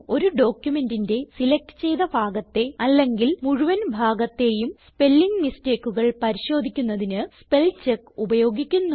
ഒരു ഡോക്യുമെന്റിന്റെ സിലക്റ്റ് ചെയ്ത ഭാഗത്തെ അല്ലെങ്കിൽ മുഴുവൻ ഭാഗത്തേയും സ്പെല്ലിങ് mistakeകൾ പരിശോധിക്കുന്നതിന് സ്പെൽചെക്ക് ഉപയോഗിക്കുന്നു